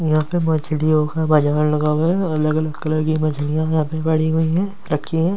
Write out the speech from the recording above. यहाँ पर मछलियों का बाजार लगा हुआ है अलग अलग कलर की मछलिया यहाँ पर पड़ी हुई है रखी है ।